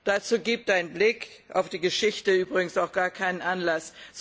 Dazu gibt ein Blick auf die Geschichte übrigens auch gar keinen Anlass.